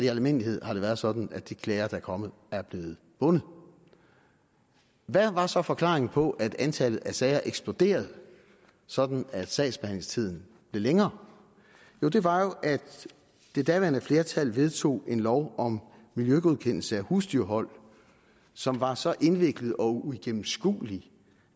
i almindelighed har været sådan at de klager der er kommet er blevet vundet hvad var så forklaringen på at antallet af sager eksploderede sådan at sagsbehandlingstiden blev længere det var jo at det daværende flertal vedtog en lov om miljøgodkendelse af husdyrhold som var så indviklet og uigennemskuelig